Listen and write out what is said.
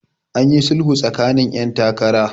an yi sulhu tsakanin 'yan takara